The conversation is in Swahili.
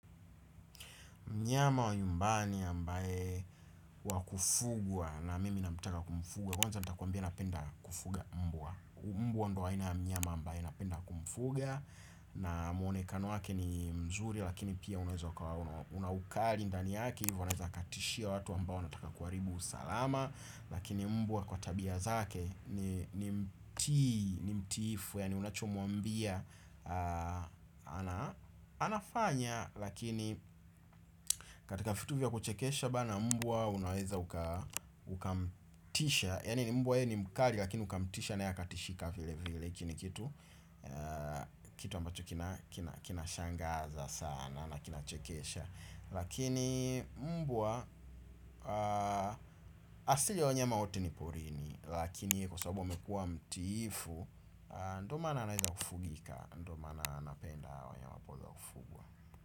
Mnyama wa nyumbani ambae wakufugwa na mimi namtaka kumfuga. Kwanza nitakuambia napenda kufuga mbwa. Mbwa ndo aina ya mnyama mbaye napenda kumfuga. Na mwonekano wake ni mzuri lakini pia unaweza kaona una ukali ndani yake. Hivo aneza katishia watu ambao wanataka kuharibu usalama. Lakini mbwa kwa tabia zake ni mtiifu yaani unachomwambia. Anafanya. Lakini katika vitu vya kuchekesha bana mbwa unaweza Ukamtisha. Yaani mbwa ye ni mkali lakini ukamtisha naye katishika vile vile hiki ni kitu ambacho kina kina shangaza sana. Na kina chekesha. Lakini mbwa. Asili ya wanyama wote ni porini lakini ye kwa sababu amekuwa mtiifu. Ndo maana anaweza kufugika. Ndo maana napenda hawa wanyama hupenda kufugwa.